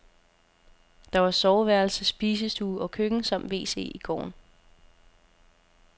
Der var soveværelse, spisestue og køkken samt wc i gården.